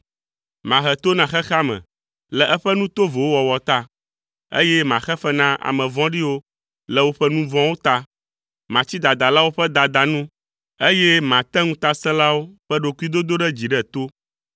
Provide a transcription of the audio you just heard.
Mahe to na xexea me le eƒe nu tovowo wɔwɔ ta, eye maxe fe na ame vɔ̃ɖiwo le woƒe nu vɔ̃wo ta. Matsi dadalawo ƒe dada nu, eye mate ŋutasẽlawo ƒe ɖokuidodoɖedzi ɖe to.